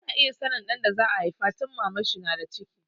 Ana iya sanin jinsin ɗan da za a haifa tun Maman shi ta na da ciki